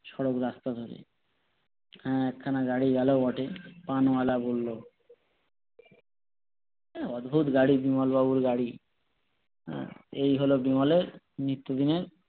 সরল রাস্তা ধরে হ্যাঁ এক খানা গাড়ি গেলো বটে কি অদ্ভত গাড়ি বিমল বাবুর গাড়ি হম এই হলো বিমলের নিত্যদিনের